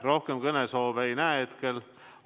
Rohkem kõnesoove ei näe.